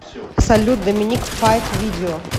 салют доминик файк видео